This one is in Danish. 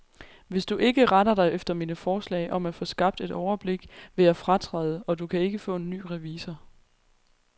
Hvis du ikke retter dig efter mine forslag om at få skabt et overblik, vil jeg fratræde, og du kan ikke få en ny revisor.